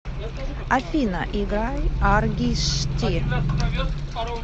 афина играй аргишти